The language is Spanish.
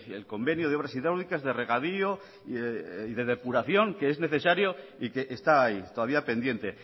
el convenio de obras hidráulicas de regadío y de depuración que es necesario y que está ahí todavía pendiente